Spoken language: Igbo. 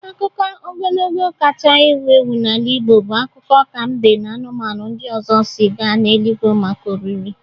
Akụkọ ogologo na-ewu ewu n'ala Igbo bụ akụkọ ka mbe na anụmanụ ndị ọzọ si gaa n'eluigwe maka oriri.